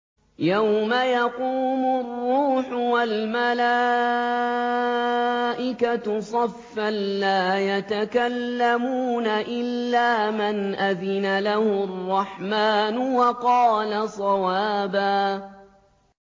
يَوْمَ يَقُومُ الرُّوحُ وَالْمَلَائِكَةُ صَفًّا ۖ لَّا يَتَكَلَّمُونَ إِلَّا مَنْ أَذِنَ لَهُ الرَّحْمَٰنُ وَقَالَ صَوَابًا